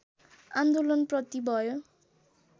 आन्दोलनप्रति भयो